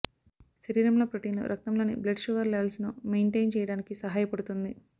శరీరంలో ప్రోటీన్లు రక్తంలోని బ్లడ్ షుగర్ లెవల్స్ ను మెయింటైన్ చేయడానికి సహాయపడుతుంది